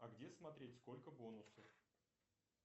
а где смотреть сколько бонусов